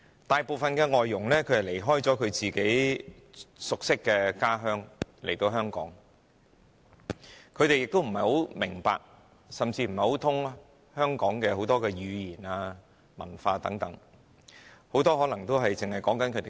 大部分外傭離開自己熟悉的家鄉來到香港，不大明白甚至不通曉香港的語言和文化，很多更可能只懂說自己的語言。